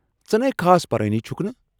ژٕ نَے خاص پرانٕٕے چُھكھ نہٕ ۔